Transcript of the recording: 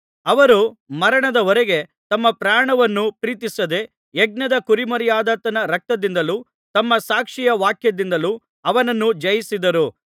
ಅವರು ಮರಣದವರೆಗೆ ತಮ್ಮ ಪ್ರಾಣವನ್ನು ಪ್ರೀತಿಸದೆ ಯಜ್ಞದ ಕುರಿಮರಿಯಾದಾತನ ರಕ್ತದಿಂದಲೂ ತಮ್ಮ ಸಾಕ್ಷಿಯ ವಾಕ್ಯದಿಂದಲೂ ಅವನನ್ನು ಜಯಿಸಿದರು